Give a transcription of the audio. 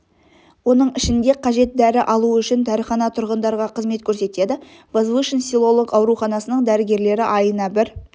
оның ішінде қажет дәрі алу үшін дәріхана тұрғындарға қызмет көрсетеді возвышен селолық ауруханасының дәрігерлері айына бір